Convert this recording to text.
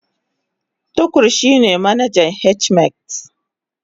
Tukur shine manajan H-medics